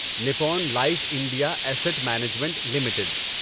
Nippon Life India Asset Management limited